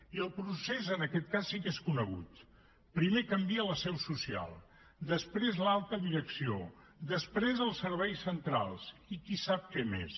i el procés en aquest cas sí que és conegut primer canvia la seu social després l’alta direcció després els serveis centrals i qui sap què més